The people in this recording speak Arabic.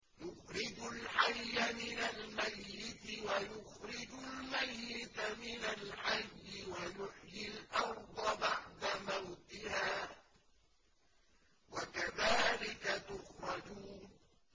يُخْرِجُ الْحَيَّ مِنَ الْمَيِّتِ وَيُخْرِجُ الْمَيِّتَ مِنَ الْحَيِّ وَيُحْيِي الْأَرْضَ بَعْدَ مَوْتِهَا ۚ وَكَذَٰلِكَ تُخْرَجُونَ